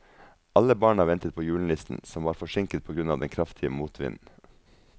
Alle barna ventet på julenissen, som var forsinket på grunn av den kraftige motvinden.